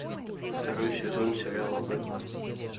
второй сезон сериала бэтмен